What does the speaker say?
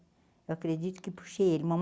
Eu acredito que puxei ele.